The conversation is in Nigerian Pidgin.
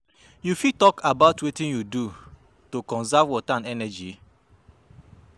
you fit talk about wetin you do to conserve water and energy?